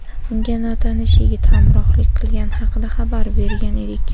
unga notanish yigit hamrohlik qilgani haqida xabar bergan edik.